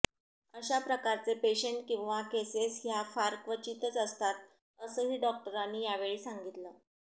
अशा प्रकारचे पेशंट किंवा केसेस ह्या फार क्वचितच असतात असंही डॉक्टरांनी यावेळी सांगितलं